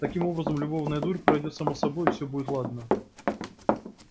таким образом любовная дурь пройдёт сама собой и все будет ладно